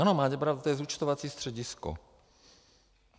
Ano, máte pravdu, to je zúčtovací středisko.